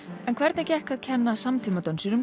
en hvernig gekk að kenna